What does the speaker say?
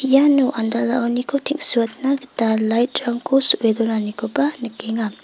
iano andalaoniko teng·suatna gita light-rangko so·e donanikoba nikenga.